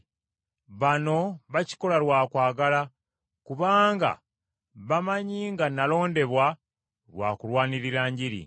Bano bakikola lwa kwagala, kubanga bamanyi nga nalondebwa lwa kulwanirira Njiri.